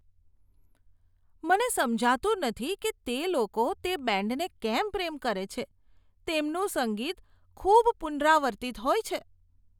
મને સમજાતું નથી કે લોકો તે બેન્ડને કેમ પ્રેમ કરે છે. તેમનું સંગીત ખૂબ પુનરાવર્તિત હોય છે.